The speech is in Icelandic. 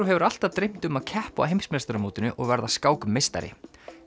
hefur alltaf dreymt um að keppa á heimsmeistaramótinu og verða skákmeistari